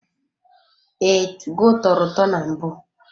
Ee, tugo tọrọ ụtọ na mbụ.